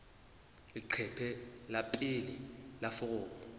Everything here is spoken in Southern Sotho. leqephe la pele la foromo